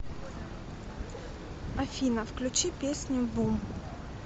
афина включи песню бум